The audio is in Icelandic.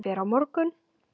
Hann fer á morgun.